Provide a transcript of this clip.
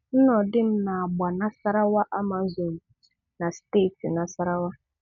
Nnodim na-agba Nasarawa Amazons na steeti Nasarawa